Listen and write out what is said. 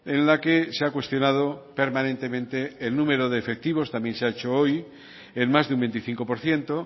en la que se ha cuestionado permanentemente el número de efectivos también se ha hecho hoy en más de un veinticinco por ciento